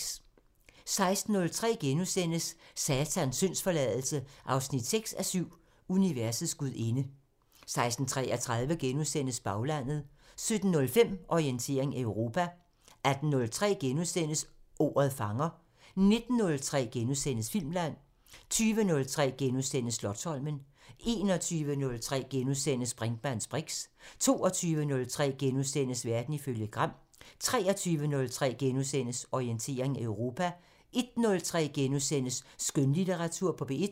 16:03: Satans syndsforladelse 6:7 – Universets gudinde * 16:33: Baglandet * 17:05: Orientering Europa 18:03: Ordet fanger * 19:03: Filmland * 20:03: Slotsholmen * 21:03: Brinkmanns briks * 22:03: Verden ifølge Gram * 23:03: Orientering Europa * 01:03: Skønlitteratur på P1 *